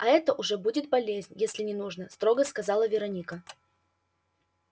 а это уже будет болезнь если не нужно строго сказала вероника